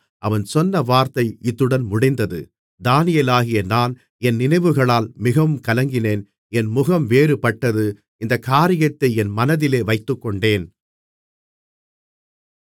அவன் சொன்ன வார்த்தை இத்துடன் முடிந்தது தானியேலாகிய நான் என் நினைவுகளால் மிகவும் கலங்கினேன் என் முகம் வேறுபட்டது இந்தக் காரியத்தை என் மனதிலே வைத்துக்கொண்டேன்